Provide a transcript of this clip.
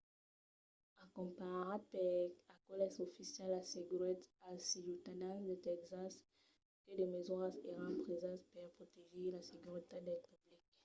acompanhat per aqueles oficials assegurèt als ciutadans de tèxas que de mesuras èran presas per protegir la seguretat del public